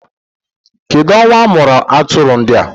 Kedụ ọnwa amụrụ atụrụ ndị a?